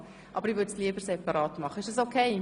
Ich bevorzuge aber eine separate Behandlung.